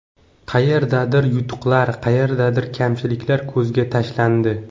Qayerdadir yutuqlar, qayerdadir kamchiliklar ko‘zga tashlandi.